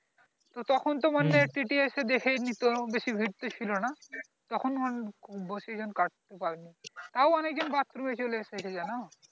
তো তখন তো মানে TTS এসে দেখে নিত বেশি ভিড় ছিলনা তখন বেশি জন কাটতে পারেনি তা ও অনেক জন bathroom চলে এসেছে জানো